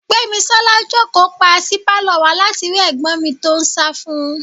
Gbémisọ́lá jókòó pa sí pálọ̀ wa láti rí ẹ̀gbọ́n mi tó ń sá fún un.